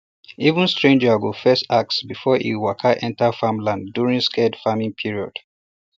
even stranger um go first ask before um e waka enter farmland during sacred farming period